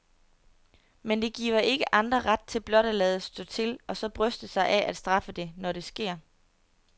Men det giver ikke andre ret til at blot at lade stå til og så bryste sig af at straffe det, når det sker.